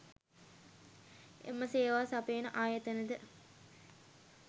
එම සේවා සපයන ආයතනද